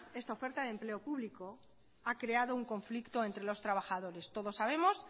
esta oferta de empleo público ha creado un conflicto entre los trabajadores todos sabemos